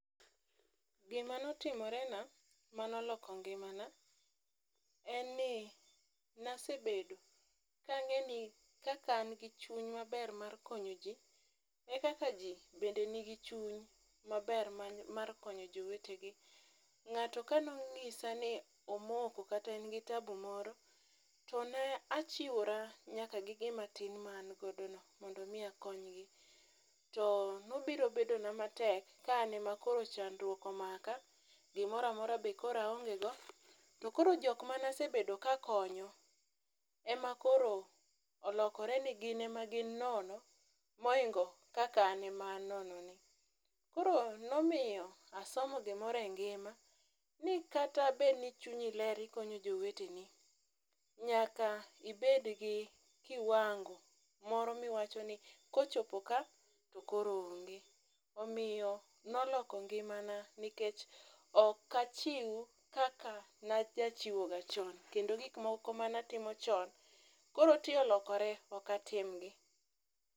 Gima notimorena manoloko ngimana en ni nasebedo kang'eni kaka an gi chuny maber mar konyo ji, e kaka ji bende nigi chuny maber mar konyo jowetegi. Ng'ato ka no ng'isa ni omoko kata en gi tabu moro to ne achiwora nyaka gi gimatin mane an godono mondo omi akonygi. To nobiro bedona matek ka an ema koro chandruok omaka gimoro amora be koro aongego, to koro jokma nasebedo kakonyo ema koro olokore ni gin ema koro gin nono moingo kaka an ema an nononi. Koro nomiyo asomo gimoro e ngima ni kata bedni chunyi ler ikonyo joweteni, nyaka ibed gi kiwango moro miwacho ni kochopo ka to koro onge. Omiyo noloko ngimana nikech, ok achiw kaka najachiwoga chon kendo gikmoko manatimo chon koro ti olokore ok atimgi.